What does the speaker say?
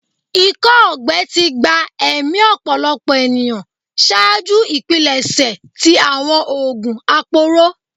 Ikọ-ọgbẹ ti gba ẹmi ọpọlọpọ eniyan ṣaaju ipilẹṣẹ ti awọn oogun aporo